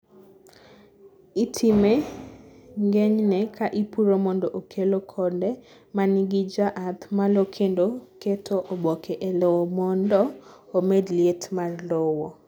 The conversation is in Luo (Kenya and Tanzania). itme ng'enyne ka ipuro mondo okelo konde manigi jaath malo kendo keto oboke e lowo mondo omed liet mar lowo